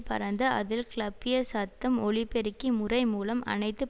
பறந்து அதில் கிளப்ய சத்தம் ஒலிபெருக்கி முறை மூலம் அனைத்து